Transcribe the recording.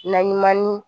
Naɲuman ni